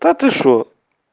да ты что